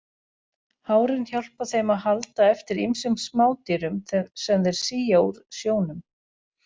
Hárin hjálpa þeim að halda eftir ýmsum smádýrum sem þeir sía úr sjónum.